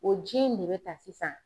O ji in ne bɛ ta sisan